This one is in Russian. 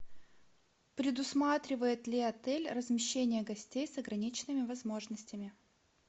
предусматривает ли отель размещение гостей с ограниченными возможностями